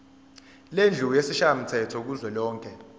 lendlu yesishayamthetho kuzwelonke